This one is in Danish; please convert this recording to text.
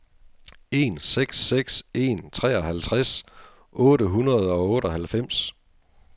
en seks seks en treoghalvtreds otte hundrede og otteoghalvfems